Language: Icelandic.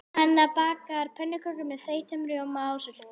Hanna bakar pönnukökur með þeyttum rjóma og sultu.